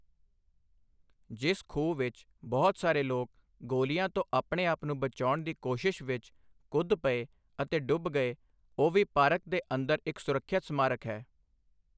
ਜਿਸ ਖੂਹ ਵਿੱਚ ਬਹੁਤ ਸਾਰੇ ਲੋਕ ਗੋਲੀਆਂ ਤੋਂ ਆਪਣੇ ਆਪ ਨੂੰ ਬਚਾਉਣ ਦੀ ਕੋਸ਼ਿਸ਼ ਵਿੱਚ ਕੁੱਦ ਪਏ ਅਤੇ ਡੁੱਬ ਗਏ, ਉਹ ਵੀ ਪਾਰਕ ਦੇ ਅੰਦਰ ਇੱਕ ਸੁਰੱਖਿਅਤ ਸਮਾਰਕ ਹੈ।